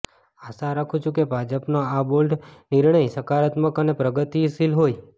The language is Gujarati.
આશા રાખું છું કે ભાજપનો આ બોલ્ડ નિર્ણય સકારાત્મક અને પ્રગતિશીલ હોય